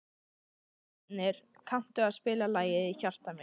Grímnir, kanntu að spila lagið „Í hjarta mér“?